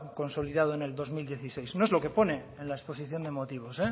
consolidado en el dos mil dieciséis no es lo que pone en la exposición de motivos